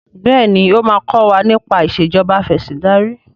béèni o ma kò wá nipa Ìṣèjọba Afẹ̀sìndarí.